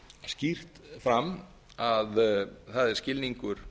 skýrt fram að það er skilningur